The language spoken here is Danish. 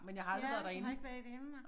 Ja du har ikke været derinde